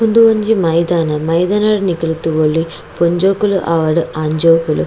ಉಂದು ಒಂಜಿ ಮೈದಾನ ಮೈದಾನಡ್ ನಿಕುಲು ತೂವೊಲಿ ಪೊಂಜೋಕುಲು ಆವಡ್ ಆಂಜೋಕುಲು --